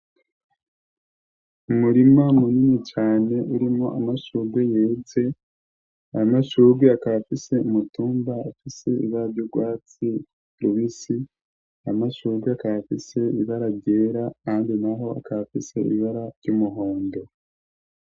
Umurima munini cane urimwo amashurwe yeze, ayo mashurwe akaba afise imitumba afise ibara ry'ugwatsi rubisi, ayo mashurwe akaba afise ibara ryera ahandi naho akaba afise ibara ry'umuhondo.